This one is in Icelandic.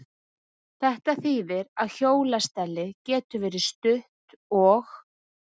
Þetta þýðir að hjólastellið getur verið stutt og